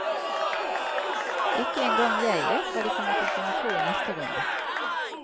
Ikke engang jeg vet hva de kommer til å finne på i neste runde.